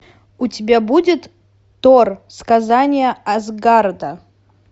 у тебя будет тор сказание асгарда